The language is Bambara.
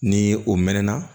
Ni o mɛnɛna